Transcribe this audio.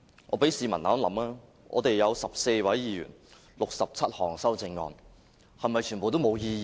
我請市民想一想，我們有14位議員 ，67 項修正案，是否全部都沒有意義？